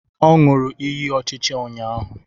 O ñuru ịyị ọchịchị ụnyahụ